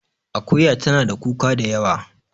Akuya tana da kuka da yawa